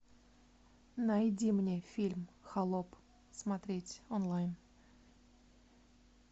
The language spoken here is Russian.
найди мне фильм холоп смотреть онлайн